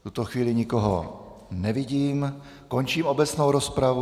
V tuto chvíli nikoho nevidím, končím obecnou rozpravu.